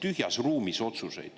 Aitäh!